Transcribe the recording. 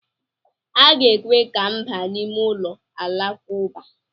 A ga-ekwe ka m baa n'ime ụlọ Alakụba?